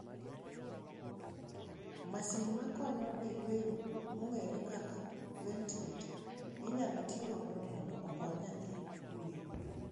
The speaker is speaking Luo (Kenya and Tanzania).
Masin makonyo e yweyo mong`ere kaka ventileta inyalo tigodo mondo okony nyathi yweyo.